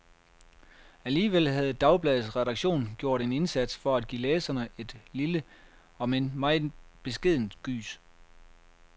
Alligevel havde dagbladets redaktion gjort en indsats, for at give læserne et lille, om end meget beskedent, gys.